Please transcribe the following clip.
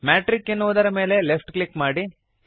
metric ಎನ್ನುವುದರ ಮೇಲೆ left click ಮಾಡಿರಿ